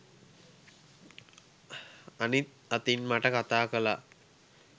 අනිත් අතින් මට කතා කාලා